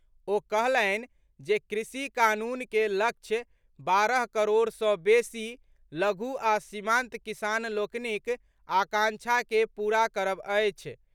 ओ कहलनि जे कृषि कानून के लक्ष्य बारह करोड़ सँ बेसी लघु आ सीमांत किसान लोकनिक आकांक्षा के पूरा करब अछि।